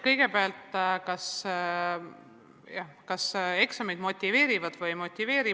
Kõigepealt, kas eksamid motiveerivad või ei motiveeri?